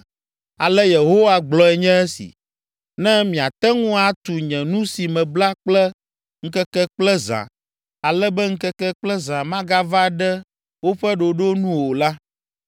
“Ale Yehowa gblɔe nye esi: ‘Ne miate ŋu atu nye nu si mebla kple ŋkeke kple zã, ale be ŋkeke kple zã magava ɖe woƒe ɖoɖo nu o la,